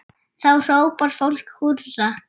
Þá hrópar fólk húrra.